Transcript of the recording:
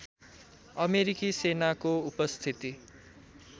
अमेरिकी सेनाको उपस्थिति